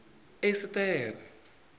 esiṱere